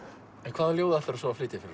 hvað ljóð ætlarðu að flytja fyrir